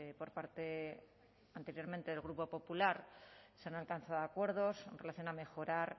por parte anteriormente del grupo popular se han alcanzado acuerdos en relación a mejorar